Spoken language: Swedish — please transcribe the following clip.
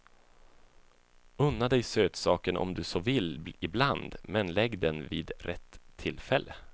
Unna dig sötsaken om du så vill ibland, men lägg den vid rätt tillfälle.